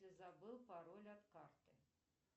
забыл пароль от карты